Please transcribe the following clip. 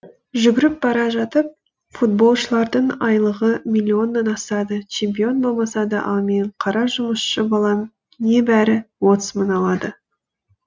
жүгіріп бара жатып футболшылардың айлығы миллионнан асады чемпион болмаса да ал мен қара жұмысшы балам небәрі отыз мың алады